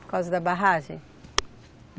Por causa da barragem?